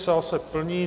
Sál se plní.